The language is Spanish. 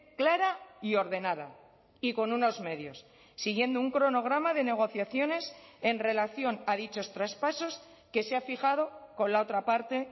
clara y ordenada y con unos medios siguiendo un cronograma de negociaciones en relación a dichos traspasos que se ha fijado con la otra parte